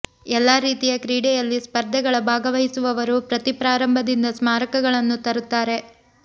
ಎಲ್ಲಾ ರೀತಿಯ ಕ್ರೀಡೆಯಲ್ಲಿ ಸ್ಪರ್ಧೆಗಳ ಭಾಗವಹಿಸುವವರು ಪ್ರತಿ ಪ್ರಾರಂಭದಿಂದ ಸ್ಮಾರಕಗಳನ್ನು ತರುತ್ತಾರೆ